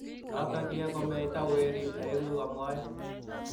notok ye komeita werik aeng'u, mwae.